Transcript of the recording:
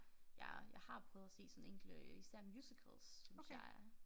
Jeg jeg har prøvet at se sådan enkelte især musicals synes jeg er